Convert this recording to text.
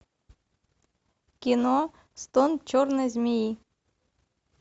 кино стон черной змеи